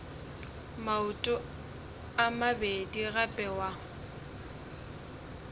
maoto a mabedi gape wa